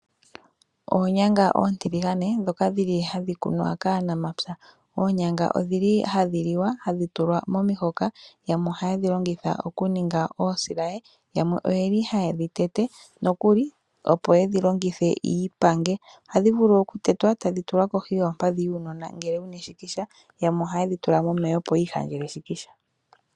Oonyanga ontiligane ndhoka dhili hadhi kunwa kaanamapya. Oonyanga odhi li hadhi liwa hadhi tulwa momihoka yamwe ohaye dhi longitha okuninga oosilaye yamwe oye li haye dhi tete nokuli opo ye dhi longithe yiipange, ohadhi vulu okutetwa otadhi tulwa kohi yoompadhi dhuunona ngele wu na eshikisha yamwe ohaye dhi tula momeya opo yiihangele eshikisha.